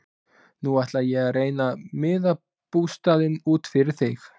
Nú ætla ég að reyna að miða bústaðinn út fyrir þig.